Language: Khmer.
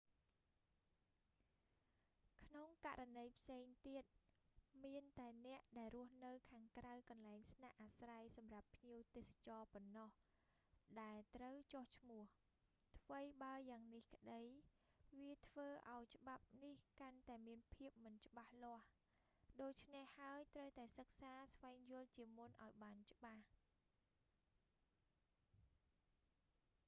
ក្នុងករណីផ្សេងទៀត មានតែអ្នកដែលរស់នៅខាងក្រៅកន្លែងស្នាក់អាស្រ័យសម្រាប់ភ្ញៀវទេសចរប៉ុណ្ណោះ ដែលត្រូវចុះឈ្មោះ ថ្វីបើយ៉ាងនេះក្តី វាធ្វើឱ្យច្បាប់នេះកាន់តែមានភាពមិនច្បាស់លាស់ ដូច្នេះហើយ ត្រូវតែសិក្សាស្វែងយល់ជាមុនឱ្យបានច្បាស់